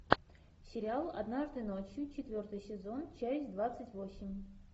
сериал однажды ночью четвертый сезон часть двадцать восемь